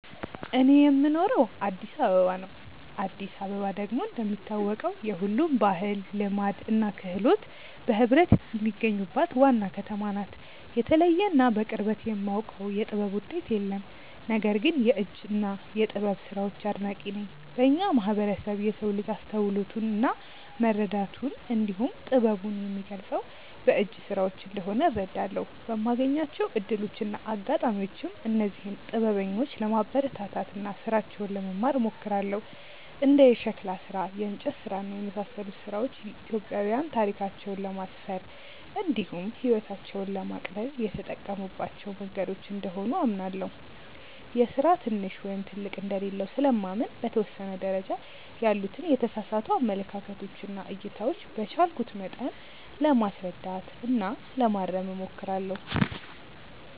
እኔ የምኖረው አዲስ አበባ ነው። አዲስ አበባ ደግሞ እንደሚታወቀው የሁሉም ባህል፣ ልማድ እና ክህሎት በህብረት የሚገኙባት ዋና ከተማ ናት። የተለየ እና በቅርበት የማውቀው የጥበብ ውጤት የለም። ነገር ግን የእጅ እና የጥበብ ስራዎች አድናቂ ነኝ። በእኛ ማህበረሰብ የሰው ልጅ አስተውሎቱን እና መረዳቱን እንዲሁም ጥበቡን የሚገልፀው በእጅ ስራዎች እንደሆነ እረዳለሁ። በማገኛቸው እድሎች እና አጋጣሚዎችም እነዚህን ጥበበኞች ለማበረታታት እና ስራቸውን ለመማር እሞክራለሁ። እንደ የሸክላ ስራ፣ የእንጨት ስራ እና የመሳሰሉት ስራዎች ኢትዮጵያዊያን ታሪካቸውን ለማስፈር እንዲሁም ህይወታቸውን ለማቅለል የተጠቀሙባቸው መንገዶች እንደሆኑ አምናለሁ። የስራ ትንሽ ወይም ትልቅ እንደሌለው ስለማምን በተወሰነ ደረጃ ያሉትን የተሳሳቱ አመለካከቶች እና እይታዎች በቻልኩት መጠን ለማስረዳት እና ለማረም እሞክራለሁ።